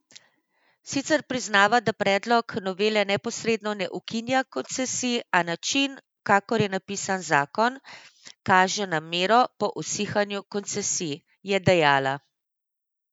Sicer priznava, da predlog novele neposredno ne ukinja koncesij, a način, kakor je napisan zakon, kaže namero po usihanju koncesij, je dejala.